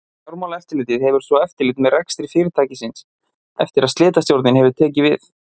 Fjármálaeftirlitið hefur svo eftirlit með rekstri fyrirtækisins eftir að slitastjórnin hefur tekið við.